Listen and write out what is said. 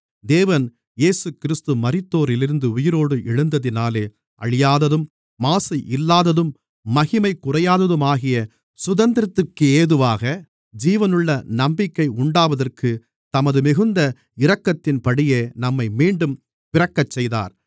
தேவன் இயேசுகிறிஸ்து மரித்தோரிலிருந்து உயிரோடு எழுந்ததினாலே அழியாததும் மாசு இல்லாததும் மகிமை குறையாததுமாகிய சுதந்திரத்திற்கேதுவாக ஜீவனுள்ள நம்பிக்கை உண்டாவதற்கு தமது மிகுந்த இரக்கத்தின்படியே நம்மை மீண்டும் பிறக்கச்செய்தார்